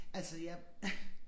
Altså jeg